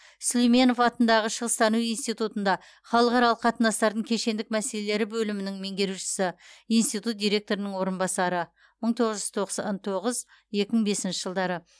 сүлейменов атындағы шығыстану институтында халықаралық қатынастардың кешендік мәселелері бөлімінің меңгерушісі институт директорының орынбасары мың тоғыз жүз тоқсан тоғыз екі мың бесінші жылдары